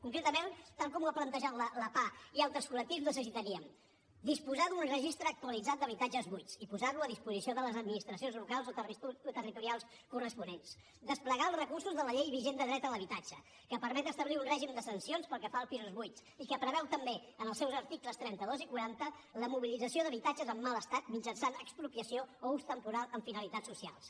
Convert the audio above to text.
concretament tal com ho ha plantejat la pah i altres col·lectius necessitaríem disposar d’un registre actualitzat d’habitatges buits i posar lo a disposició de les administracions locals o territorials corresponents desplegar els recursos de la llei vigent de dret a l’habitatge que permet establir un règim de sancions pel que fa als pisos buits i que preveu també en els seus articles trenta dos i quaranta la mobilització d’habitatges en mal estat mitjançant expropiació o ús temporal amb finalitats socials